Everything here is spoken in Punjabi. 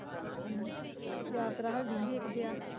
ਹਮ, ਤੇ ਯਾਰ ਤੇਰਾ ਹਲੇ ਦਿਨ ਦੇਕ ਗਿਆ